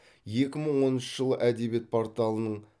екі мың оныншы жылы әдебиет порталының